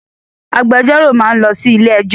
Agbẹjọ́rò máa ń lọ sí ilé ẹ́jọ́.